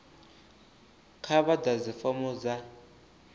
kha vha ḓadze fomo dza